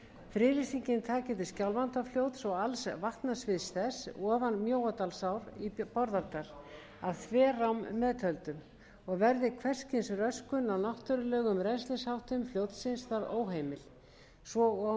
friðlýsingin taki til skjálfandafljóts og alls vatnasviðs þess ofan mjóadalsár í bárðardal að þverám meðtöldum og verði hvers kyns röskun á náttúrulegum rennslisháttum fljótsins þar óheimil svo og